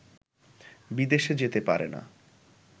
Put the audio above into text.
বিদেশে যেতে পারে না